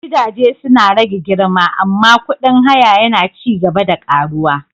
Gidaje suna rage girma amma kudin haya yana ci gaba da ƙaruwa.